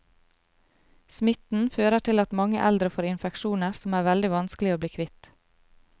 Smitten fører til at mange eldre får infeksjoner som er veldig vanskelig å bli kvitt.